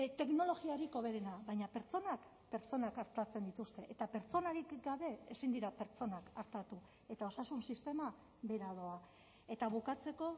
teknologiarik hoberena baina pertsonak pertsonak artatzen dituzte eta pertsonarik gabe ezin dira pertsonak artatu eta osasun sistema behera doa eta bukatzeko